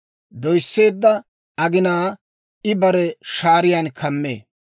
Doysseedda aginaa I bare shaariyaan kammee.